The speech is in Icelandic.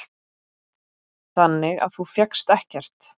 Þannig að þú fékkst ekkert?